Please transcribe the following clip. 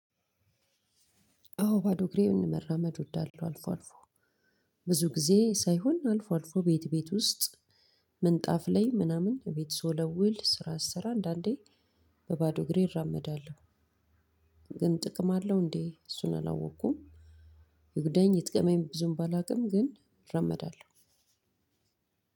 አዎ ባዶ እግሬን መራመድ እወዳለሁ። አልፎ አልፎ ብዙ ጊዜ ሳይሆን አልፎ አልፎ ቤት ቤት ውስጥ ምንጣፍ ላይ ምናምን ቤት ስወለውል ስራ ስሰራ አንዳንዴ በባዶ እግሬ እራመዳለሁ። ግን ጥቅም አለው እንዴ? እሱን አላወቅኩም። ይጉዳኝ የጥቀመኝ ብዙም ባላውቅም ግን እራመዳለሁ።